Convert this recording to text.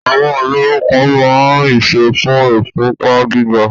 àwọn àgbo kan ma ń ìsọ́ fún ìfúnpá gíga.